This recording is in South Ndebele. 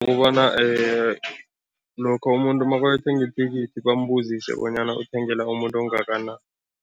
Kukobana lokha umuntu makayothenga ithikithi bambuzise bonyana uthengela umuntu ongakanani.